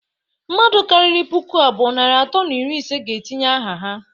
Mmadu kariri puku abụọ, narị atọ na iri ise ga-etinye aha ha.